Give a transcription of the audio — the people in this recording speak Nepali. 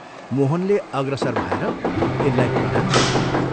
मोहनले अग्रसर भएर तिनलाई प्रणाम गयो।